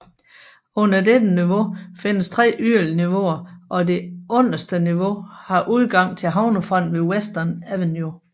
Under dette niveau findes tre yderligere niveauer og det underste niveau har udgang til havnefronten ved Western Avenue